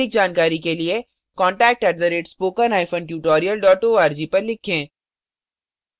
अधिक जानकारी के लिए contact @spokentutorial org पर लिखें